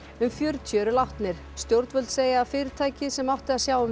um fjörutíu eru látnir stjórnvöld segja að fyrirtækið sem átti að sjá um